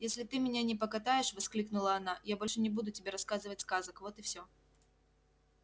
если ты меня не покатаешь воскликнула она я больше не буду тебе рассказывать сказок вот и всё